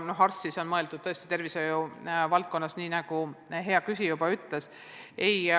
Arsti all ma pean silmas tervishoiu valdkonnas töötajat, nii nagu ka hea küsija ütles.